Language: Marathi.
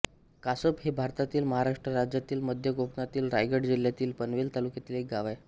कासप हे भारतातील महाराष्ट्र राज्यातील मध्य कोकणातील रायगड जिल्ह्यातील पनवेल तालुक्यातील एक गाव आहे